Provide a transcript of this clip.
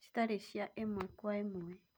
citarĩ cia ĩmwe kwa ĩmwe